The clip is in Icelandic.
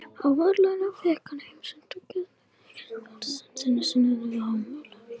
Á veraldarvefnum fann ég heimasíðu gistiheimilisins Kirkjubóls á Ströndum, rétt sunnan við Hólmavík.